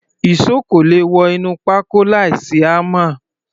Ìṣó kò le wọ inú pákó láìsí hámà.